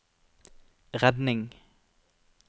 redning